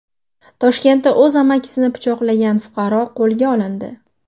Toshkentda o‘z amakisini pichoqlagan fuqaro qo‘lga olindi.